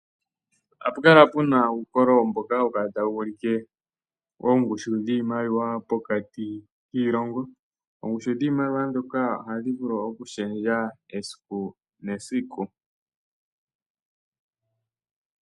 Ohapu kala pena uukololo mboka hawu kala tawu ulike oongushu dhiimaliwa pokati kiilongo. Oongushu dhiimaliwa dhika ohadhi vulu okushendja esiku nesiku.